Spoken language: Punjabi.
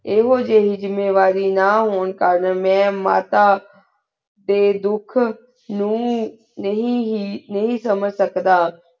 ਏਹੁ ਜਾਹਿ ਜ਼ਮੀਨ ਵਾਰੀ ਨਾ ਹੁਰਾਂ ਕਰਨ ਮੈਂ ਮਾਤਾ ਦੀ ਧੁਖ ਨੂ ਨਹੀ ਨਹੀ ਸਮੇਜ ਸਕਦਾ